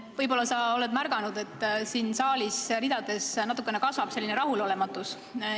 Võib-olla sa oled märganud, et saali teatud ridades kasvab rahulolematus.